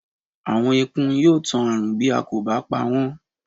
Àwọn ekun yóò tan ààrùn bí a kò bá pawọ́n